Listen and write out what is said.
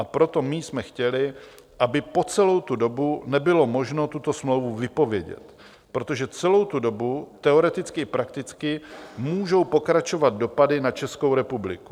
A proto my jsme chtěli, aby po celou tu dobu nebylo možno tuto smlouvu vypovědět, protože celou tu dobu teoreticky i prakticky můžou pokračovat dopady na Českou republiku.